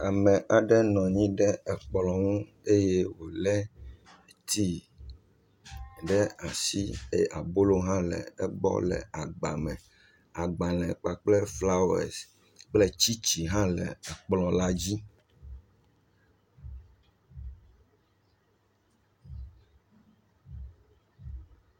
Ame aɖe nɔ anyi ɖe kplɔ̃a ŋu eye wole tea ɖe asi, abolo hã le egbɔ le agba me. Agbalẽ kpakple flawesi kple tsitsi hã le kplɔ la dzi.